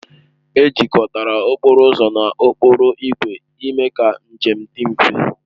Ejikọtara okporo ụzọ na okporo ígwè ime ka njem dị mfe